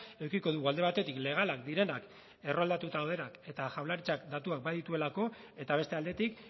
edukiko dugu alde batetik legalak direnak erroldatuta daudenak eta jaurlaritzak datuak badituelako eta beste aldetik